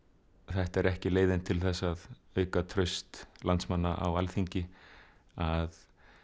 þetta er ekki leiðin til þess að auka traust landsmanna á Alþingi að